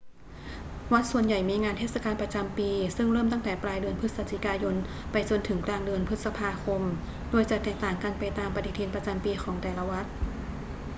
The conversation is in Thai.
วัดส่วนใหญ่มีงานเทศกาลประจำปีซึ่งเริ่มตั้งแต่ปลายเดือนพฤศจิกายนไปจนถึงกลางเดือนพฤษภาคม โดยจะแตกต่างกันไปตามปฏิทินประจำปีของแต่ละวัด